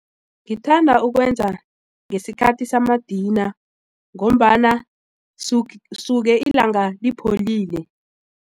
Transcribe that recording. Ngithanda ukwenza ngesikhathi samadina ngombana suke ilanga lipholile.